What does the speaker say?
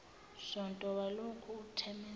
sonto walokhu uthemeleza